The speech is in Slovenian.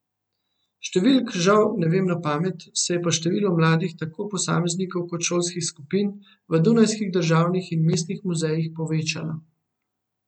Številk žal ne vem na pamet, se je pa število mladih, tako posameznikov kot šolskih skupin, v dunajskih državnih in mestnih muzejih povečalo.